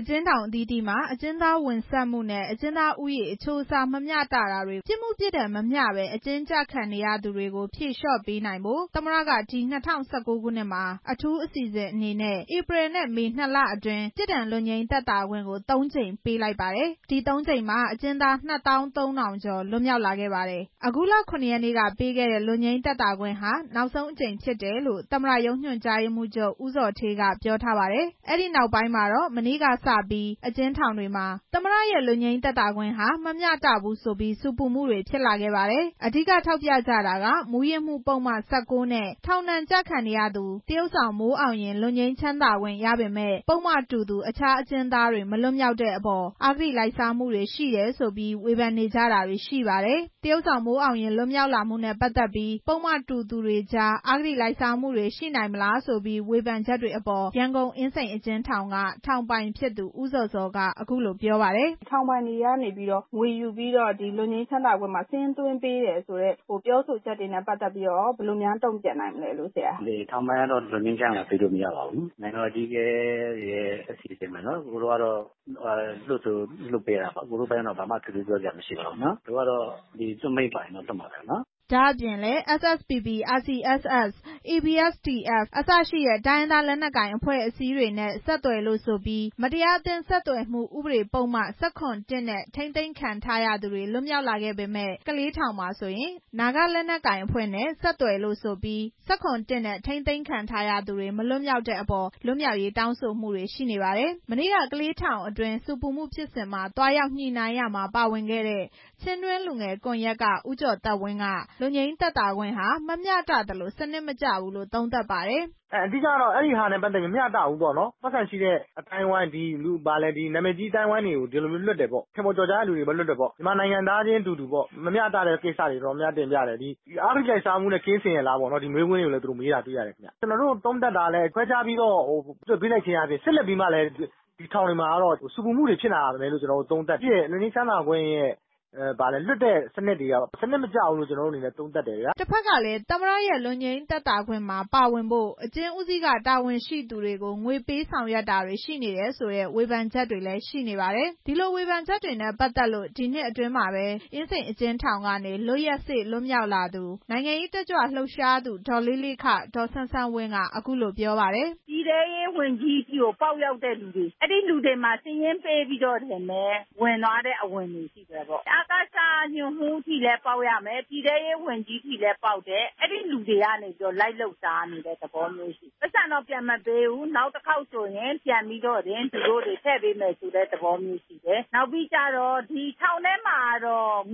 အကျဉ်းထောင်အသီးသီးမှာ အကျဉ်းသားဝင်ဆန့်မှုနဲ့ အကျဉ်းသားဦးရေ အချိုးအစားမမျှတတာတွေ၊ ပြစ်မှုပြစ်ဒဏ်မမျှတဘဲ အကျဉ်းကျခံနေရသူတွေကို ဖြေလျော့ပေးနိုင်ဖို့ သမ္မတက ဒီ ၂ဝ၁၉ ခုနှစ်မှာ အထူးအစီစဉ်အနေနဲ့ ဧပြီနဲ့မေ နှစ်လအတွင်း ပြစ်ဒဏ်လွတ်ငြိမ်းသက်သာခွင့်ကို သုံးကြိမ်ပေးလိုက်ပါတယ်။ ဒီ သုံးကြိမ်မှာ အကျဉ်းသား ၂၃ဝဝဝ ကျော်လွတ်မြောက်လာခဲ့ပါတယ်။ အခုလ ၇ ရက်နေ့ကပေးခဲ့တဲ့ လွတ်ငြိမ်းသက်သာခွင့်ဟာ နောက်ဆုံးအကြိမ်ဖြစ်တယ်လို့ သမ္မတရုံးညွန်ကြားရေးမှူးချုပ် ဦးဇော်ဌေး က ပြောထားပါတယ်။ ဒီနောက်ပိုင်းမှာတော့ မနေ့ကစပြီး အကျဉ်းထောင်တွေမှာ သမ္မတရဲ့ လွတ်ငြိမ်းချမ်းသာခွင့်ဟာ မမျှတဘူးဆိုပြီး ဆူပူမှုတွေဖြစ်လာပါတယ်။ အဓိက ထောက်ပြကြတာက မူးယစ်မှုပုဒ်မ ၁၉ နဲ့ ထောင်ဒဏ်ကျခံနေရသူ သရုပ်ဆောင်မိုးအောင်ရင် လွတ်ငြိမ်းချမ်းသာခွင့်ရပေမယ့် ပုဒ်မတူသူ တခြား အကျဉ်းသားတွေ မလွတ်မြောက်တဲ့အပေါ် အဂတိလိုက်စားမှုရှိတယ်ဆိုပြီး ဝေဖန်နေကြတာတွေရှိပါတယ်။ သရုပ်ဆောင်မိုးအောင်ရင် လွတ်မြောက်လာမှုနဲ့ ပတ်သက်ပြီး ပုဒ်မတူသူတွေကြား အဂတိလိုက်စားမှုတွေ ရှိနိုင်မလားဆိုပြီး ဝေဖန်မှုတွေရှိနေတဲ့အပေါ် ရန်ကုန်အင်းစိန်အကျဉ်းထောင်က ထောင်ပိုင်ဖြစ်သူ ဦးဇော်ဇော် က အခုလိုပြောပါတယ်။ “ထောင်ပိုင်ကတော့ လွတ်ငြိမ်းချမ်းသာပေးလို့ မရပါဘူး။ နိုင်ငံတော်အကြီးအကဲတွေရဲ့ အစီအစဉ်ပဲ။ လွှတ်ဆိုလွှတ်ပေးတာပဲ။ တို့ကတော့ လွှတ်မိန့်ပါရင်လွှတ်မှာပဲ။” ဒါ့အပြင်လည်း SSPP၊ RCSS၊ ABSDF အစရှိတဲ့ တိုင်းရင်းသား လက်နက်ကိုင်အဖွဲ့အစည်းတွေနဲ့ ဆက်သွယ်လို့ဆိုပြီး မတရားအသင်း ဆက်သွယ်မှုဥပဒေပုဒ်မ ၁၇ နဲ့ ထိန်းသိမ်းခံထားရသူတွေ လွတ်မြောက်လာပေမယ့် ကလေးထောင်မှာဆိုရင် နာဂလက်နက်ကိုင်အဖွဲ့နဲ့ ဆက်သွယ်လို့ဆိုပြီး ၁၇ နဲ့ ထိန်းသိမ်းခံရသူတွေ မလွတ်မြောက်တဲ့အပေါ် တောင်းဆိုမှုတွေရှိနေတာပါ။ မနေ့က ကလေးထောင်တွင်း ဆူပူမှုဖြစ်စဉ်မှာ သွားရောက်ညှိနှိုင်းရာမှာ ပါဝင်ခဲ့တဲ့ ချင်းတွင်းလူငယ်ကွန်ယက်က ဦးကျော်သက်ဝင်းက လွတ်ငြိမ်းသက်သာခွင့်ဟာ မမျှတသလို စနစ်မကျဘူးလို့ သုံးသပ်ပါတယ်။ “မမျှတဘူး။ ပိုက်ဆံရှိတဲ့အသိုင်းအဝိုင်း၊ နာမည်ကြီးအသိုင်းအဝိုင်း ထင်ပေါ်ကျော်ကြားသူတွေကိုပဲ လွှတ်တယ်ပေါ့နော်။ မြန်မာနိုင်ငံသားချင်းအတူတူ မမျှတတဲ့ကိစ္စတွေတင်ပြတယ်။ အဂတိလိုက်စားမှုနဲ့ ကင်းစင်ရဲ့လား ဒီမေးခွန်းတွေလည်း သူတို့မေးတာတွေ့ရတယ်။ ကျနော်တို့သုံးသပ်တာကလည်း ခွဲခြားပြီး လွှတ်ပေးလိုက်ခြင်းအားဖြင့် ဆက်လက်ပြီး ထောင်တွေမှာ ဆူပူမှုတွေဖြစ်လာမယ်လို့ သုံးသပ်တယ်။ လွတ်ငြိမ်းချမ်းသာခွင့်ရဲ့ လွှတ်တဲ့စနစ်တွေဟာ စနစ်မကျဘူးလို့ သုံးသပ်တယ်။ ” တဖက်ကလည်း သမ္မတရဲ့ လွတ်ငြိမ်းချမ်းသာခွင့်ရရှိဖို့ အကျဉ်းဦးစီးက တာဝန်ရှိသူတွေကို ငွေပေးဆောင်ရွက်တာတွေရှိနေတယ်ဆိုတဲ့ ဝေဖန်ချက်တွေလည်း ရှိနေပါတယ်။ ဒီလိုဝေဖန်ချက်တွေနဲ့ ပတ်သက်လို့ ဒီနှစ်အတွင်းမှာပဲ အကျဉ်းထောင်ကနေ လွတ်ရက်စေ့လွတ်မြောက်လာတဲ့ နိုင်ငံရေးတက်ကြွလှုပ်ရှားသူ ဒေါ်လေးလေး ဒေါ်စန်းစန်းဝင်းက အခုလို ပြောပါတယ်။ “ပြည်ထဲရေးဝန်ကြီးထိကို ပေါက်ရောက်တဲ့သူတွေ အဲဒီလူတွေမှာ စာရင်းပေးပြီးတော့ ဝင်သွားတဲ့ အဝင်တွေရှိတယ်။ အကစ က ညွှန်မှုးအထိလည်း ပေါက်တယ်။ ပြည်ထဲရေးဝန်ကြီးထိလည်းပေါက်တယ်။ အဲဒီလူတွေကနေ လိုက်လုပ်စားနေတဲ့ သဘောမျိုးရှိတယ်။ ပိုက်ဆံတော့ပြန်မပေးဘူး။ နောက်တစ်ခေါက်ဆိုရင် ပြန်ထည့်ပေးမယ်ဆိုတဲ့ သဘောမျိုးရှိတယ်။ ထောင်ထဲမှာ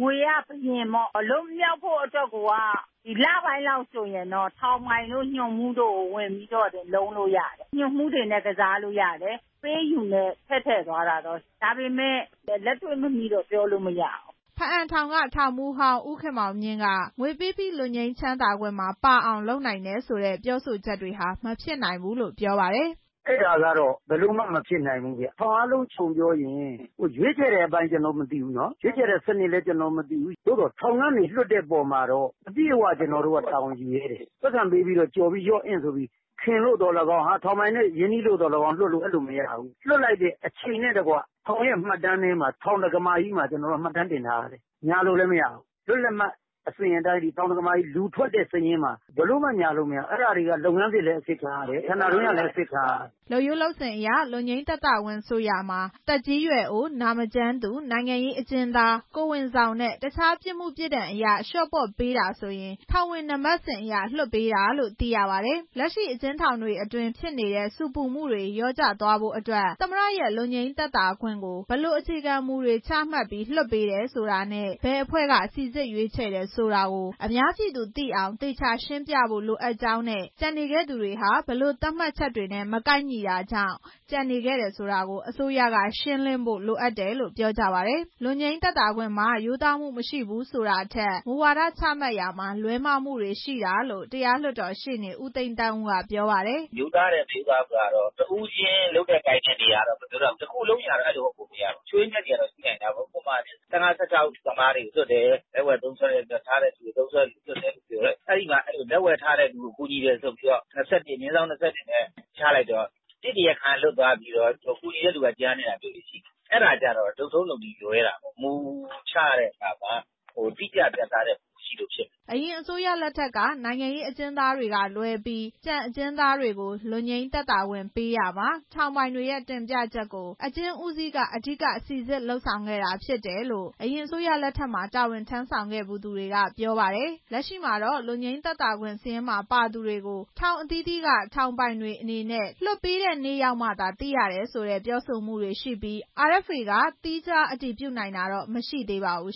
ငွေက ဘုရင်ပေါ့။ လွတ်မြောက်ဖို့လပိုင်းအလိုဆိုရင် ထောင်ပိုင်တို့ ညွှန်မှူးတို့ကို ဝင်ပြီးတော့လုံးလို့ရတယ်။ အပေးအယူနဲ့ ထည့်ထည့်သွားတာ။ ဒါပေမဲ့ လက်တွေ့မမိတော့ ပြောလို့မရဘူး။” ဘားအံထောင်က ထောင်မှူးဟောင်း ဦးခင်မောင်မြင့်က ငွေပေးပြီး လွတ်ငြိမ်းသက်သာခွင့်မှာ ပါအောင် လုပ်နိုင်တယ်ဆိုတဲ့ ပြောဆိုချက်တွေက မဖြစ်နိုင်ဘူးလို့ ပြောပါတယ်။ “အဲဒါကတော့ လုံးဝမဖြစ်နိုင်ဘူး။ ထောင်အားလုံးခြုံပြောရင် ရွေးချယ်တဲ့အပိုင်းတော့ ကျနော်မသိဘူး။ ရွေးချယ်တဲ့စနစ်လည်း ကျနော်မသိဘူး။ သို့သော ထောင်ကနေ လွှတ်တဲ့အပေါ်မှာတော့ ကျနော်တို့က အပြည့်အဝတာဝန်ယူရဲတယ်။ ပိုက်ဆံပေးပြီး ရော့အင့်ဆိုပြီး ခင်လို့သော်လည်းကောင်း ထောင်ပိုင်နဲ့ ရင်းနှီးလို့သော်လည်းကောင်း လွှတ်လို့မရဘူး။ လွှတ်လိုက်တဲ့အချိန်နဲ့တကွ ထောင်ရဲ့ မှတ်တမ်းမှာ မှတ်တမ်း တင်ထားရတယ်။ ညာလို့လည်းမရဘူး။ အဲဒါတွေက လုပ်ငန်းစစ်လည်းအစစ်ခံရတယ်။ ဌာနတွင်းကလည်း အစစ်ခံရတယ်။” လုပ်ရိုးလုပ်စဉ်အရ လွတ်ငြိမ်းသက်သာခွင့်ဆိုရာမှာ သက်ကြီးရွယ်အို၊ နာမကျန်းသူ၊ နိုင်ငံရေးအကျဉ်းသား၊ ကိုယ်ဝန်ဆောင်နဲ့ တခြားပြစ်မှုပြစ်ဒဏ်အရ လျော့ပေါ့ပေးတာဆိုရင် ထောင်ဝင်နံပါတ်စဉ်အရ လွှတ်ပေးတာလို့ သိရပါတယ်။ လက်ရှိအကျဉ်းထောင်တွေအတွင်း ဖြစ်နေတဲ့ ဆူပူမှုတွေ လျော့ကျသွားဖို့အတွက် သမ္မတရဲ့ လွတ်ငြိမ်းသက်သာခွင့်ကို ဘယ်လိုအခြေခံမူချမှတ်ပြီး လွှတ်ပေးတယ်ဆိုတာနဲ့ ဘယ်အဖွဲ့က စိစစ်ရွေးချယ်တယ်ဆိုတာကို အများပြည်သူသိအောင် သေချာရှင်းပြဖို့ လိုအပ်ကြောင်းနဲ့ ကျန်နေခဲ့သူတွေဟာ ဘယ်လိုသတ်မှတ်ချက်တွေနဲ့ မကိုက်ညီတာကြောင့် ကျန်နေခဲ့တယ်ဆိုတာကို အစိုးရက ရှင်းလင်းဖို့ လိုအပ်တယ်လို့ ပြောကြပါတယ်။ လွတ်ငြိမ်းသက်သာခွင့်မှာ ရိုးသားမှုမရှိဘူးဆိုတာထက် မူဝါဒချမှတ်ရာမှာ လွဲမှားတာတွေရှိတယ်လို့ တရားလွှတ်တော်ရှေ့နေ ဦးသိန်းသန်းဦး ကပြောပါတယ်။ “ရိုးသားတယ်၊ မရိုးသားဘူးဆိုတာတော့ တဦးချင်းလုပ်တဲ့ကိုင်တဲ့အရတော့ မပြောတတ်ဘူး။ တစ်ခုလုံး အရတော့ အဲလိုဟုတ်ပုံမရဘူး။ ချို့ယွင်းချက်တွေကတော့ ရှိနိုင်တာပေါ့။ ၁၅၊ ၁၆ သမားတွေ လက်ဝယ်ထားတဲ့သူတွေ၊ သုံးစွဲတဲ့သူတွေကို လွှတ်တယ်လို့ပြောတယ်။ အဲဒီမှာ လက်ဝယ်ထားတဲ့သူကို ကူညီတယ်ဆိုပြီး / ၂၁ နဲ့ ချလိုက်တော့ တစ် တရားခံက လွတ်သွားပြီးတော့ ကူညီတဲ့သူက ကျန်နေတာပေါ့။ အဲဒါကျတော့ လုပ်ထုံးလုပ်နည်းလွဲတာပေါ့။ မူချတဲ့နေရာမှာ တိကျပြတ်သားတဲ့မူမရှိလို့ ဖြစ်တာ။ ” အရင်အစိုးရလက်ထက်ကာလတွေက နိုင်ငံရေးအကျဉ်းသားတွေကလွဲပြီး ကျန်အကျဉ်းသားတွေကို လွတ်ငြိမ်းသက်သာခွင့်ပေးရာမှာ ထောင်ပိုင်တွေရဲ့ တင်ပြချက်ကို အကျဉ်းဦးစီးက အဓိက စိစစ်လုပ်ဆောင်ခဲ့တာဖြစ်တယ်လို့ အရင်အစိုးရလက်ထက်မှာ တာဝန်ထမ်းဆောင်ခဲ့သူတွေက ပြောပါတယ်။ လက်ရှိမှာတော့ လွတ်ငြိမ်းချမ်းသာခွင့်စာရင်းမှာပါသူတွေကို ထောင်အသီးသီးက ထောင်ပိုင်တွေအနေနဲ့ လွတ်ရက်နေ့ရောက်မှသာ သိရတယ်ဆိုတဲ့ပြောဆိုမှုတွေရှိပြီး RFA က သီးခြားအတည်ပြုနိုင်တာတော့ မရှိသေးပါဘူး